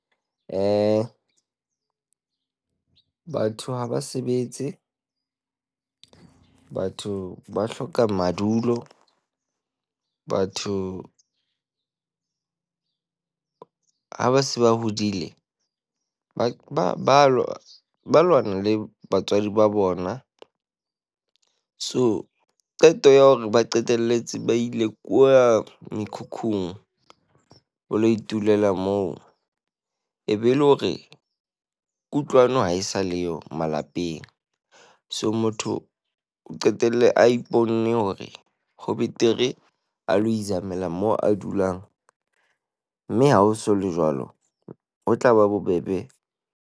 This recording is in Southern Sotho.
Eh, batho ha ba sebetse. Batho ba hloka madulo. Batho ha ba se ba hodile ba u lwana le batswadi ba bona. So qeto ya hore ba qetelletse ba ile kwa mekhukhung o lo itulela moo. Ebe le hore kutlwano ha e sa leyo malapeng. So motho o qetelle a iponne hore ho betere a lo izamela moo a dulang. Mme ha ho so le jwalo, ho tlaba bobebe.